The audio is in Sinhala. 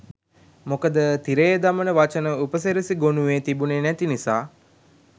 මොකද තිරයේ දමන වචන උපසිරසි ගොනුවේ තිබුනේ නැති නිසා.